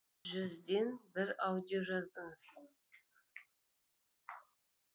жүзден бір аудио жаздыңыз